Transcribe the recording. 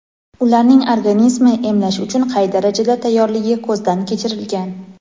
ularning organizmi emlash uchun qay darajada tayyorligi ko‘zdan kechirilgan.